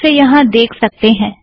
आप उसे यहाँ देख सकते हैं